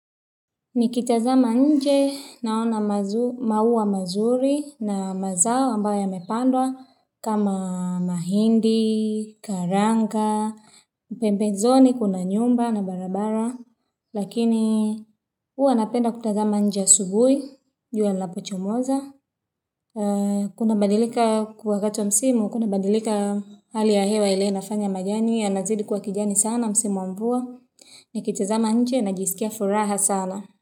Nikitazama nje naona maua mazuri na mazao ambayo yamepandwa kama mahindi, karanga, pembezoni, kuna nyumba na barabara. Lakini uwa napenda kutazama nje asubui, jua linapo chomoza. Kuna badilika wakati wa msimu, kuna badilika hali ya hewa ile inafanya majani ya nazidi kuwa kijani sana msimu wamvua. Nikitazama nje na jisikia furaha sana.